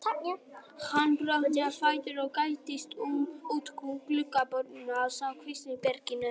Hann brölti á fætur og gægðist út um gluggaboruna á kvistherberginu.